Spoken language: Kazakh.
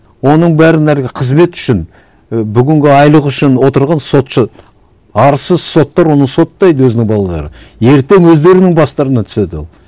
оның бәрін әлгі қызмет үшін і бүгінгі айлығы үшін отырған сотшы арсыз соттар оны соттайды өзінің балаларын ертең өздерінің бастарына түседі ол